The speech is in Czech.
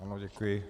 Ano, děkuji.